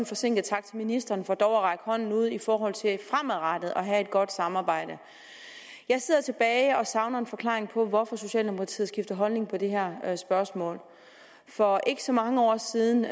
forsinket tak til ministeren for dog at række hånden ud i forhold til fremadrettet at have et godt samarbejde jeg sidder tilbage og savner en forklaring på hvorfor socialdemokratiet har skiftet holdning på det her spørgsmål for ikke så mange år siden